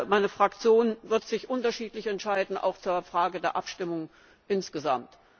Meine Fraktion wird sich unterschiedlich entscheiden, auch zur Frage der Abstimmung insgesamt.